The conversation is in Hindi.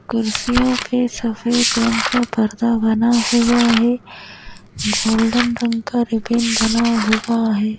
कुर्सियों पे सफेद रंग का पर्दा बना हुआ है गोल्डन रंग का रिबन बना हुआ है।